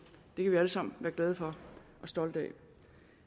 det kan vi alle sammen være glade for og stolte af